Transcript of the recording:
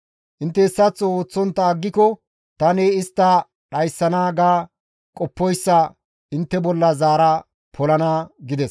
Intte hessaththo ooththontta aggiko tani istta dhayssana ga qoppoyssa intte bolla zaara polana» gides.